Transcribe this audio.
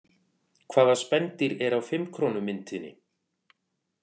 Hvaða spendýr er á fimm krónu myntinni?